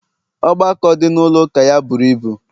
ọgbakọ dị na ụlọ ụka ya buru ibu